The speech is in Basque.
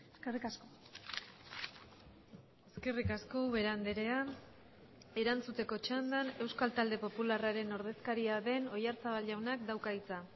eskerrik asko eskerrik asko ubera andrea erantzuteko txandan euskal talde popularraren ordezkaria den oyarzabal jaunak dauka hitza